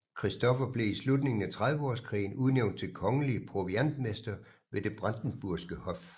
Christoffer blev i slutningen af Trediveårskrigen udnævnt til kongelig proviantmester ved det Brandenburgske Hof